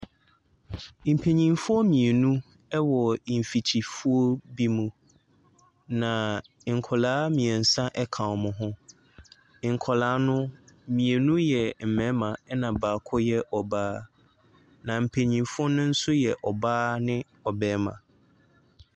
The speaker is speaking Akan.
Mpanyinfoɔ mmienu ɛwɔ mfikyifuo bi mu, na nkwadaa mmiɛnsa ka wɔn ho. Nkwadaa no, mmienu yɛ mmarima na baako yɛ ɔbaa. Na mpanyinfoɔ no nso yɛ ɔbaa ne ɔbɛrima.